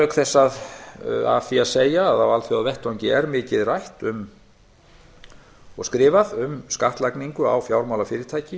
auk þess er af því að segja að á alþjóðavettvangi er mikið rætt og skrifað um skattlagningu á fjármálafyrirtæki